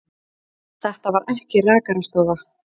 Þetta var ekki rakarastofa.